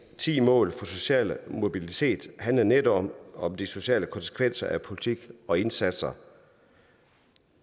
ti mål for social mobilitet handler netop om de sociale konsekvenser af politik og indsatser